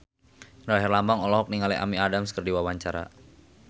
Indra Herlambang olohok ningali Amy Adams keur diwawancara